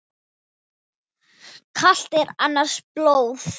Kalt er annars blóð.